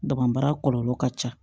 Dabara kɔlɔlɔ ka ca